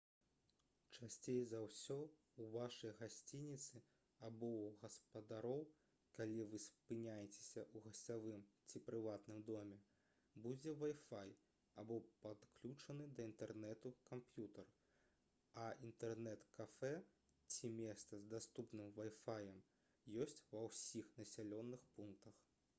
часцей за ўсё ў вашай гасцініцы або ў гаспадароў калі вы спыняецеся ў гасцявым ці прыватным доме будзе вай-фай або падключаны да інтэрнэту камп'ютар а інтэрнэт-кафэ ці месца з даступным вай-фаем ёсць ва ўсіх населеных пунктах